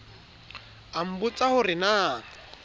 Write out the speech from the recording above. a nbotsa ho re na